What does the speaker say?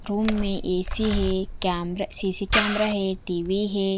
Room में AC है camera CC camera है टी_वी है।